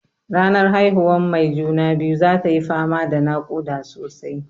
Ranar haihuwan mai juna-biyu zatayi fama da naƙuda sosai.